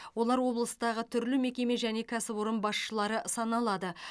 олар облыстағы түрлі мекеме және кәсіпорын басшылары саналады